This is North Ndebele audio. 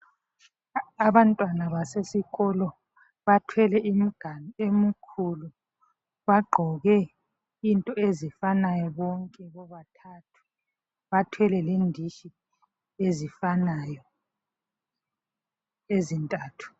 Abantwana basesikolo bathwele imiganu emikhulu. Bagqoke into ezifanayo bonke bobathathu, bathwele lenditshi ezifanayo ezintathu.